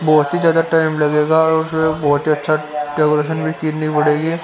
बहुत ही ज्यादा टाइम लगेगा और उसमे बहुत ही अच्छा डेकूरेशन भी खिचनी पड़ेगी।